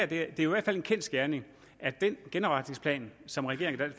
det er jo i hvert fald en kendsgerning at den genopretningsplan som regeringen